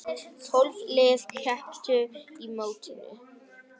Tólf lið kepptu á mótinu.